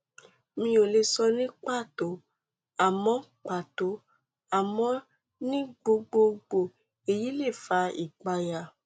mi ò lè sọ ní pàtó àmọ pàtó àmọ ní gbogbogbò èyí lè fa ìpayà